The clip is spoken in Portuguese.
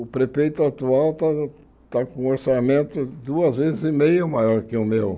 O prefeito atual está está com um orçamento duas vezes e meia maior que o meu.